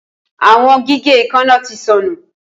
Awọn gige eekanna ti nsọnu